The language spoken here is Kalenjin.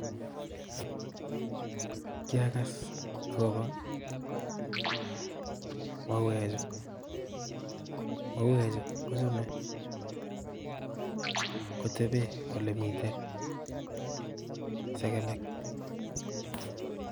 Kiagas akono mauekchuk, mauwek chu kochome koteben olemiten segemik